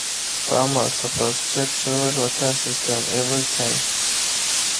farmers supposed check soil water system every time.